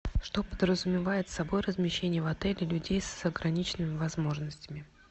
что подразумевает собой размещение в отеле людей с ограниченными возможностями